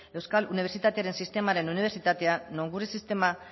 euskal unibertsitatearen sistemaren unibertsitatea nongura sistema